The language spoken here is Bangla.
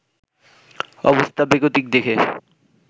অবস্থা বেগতিক দেখে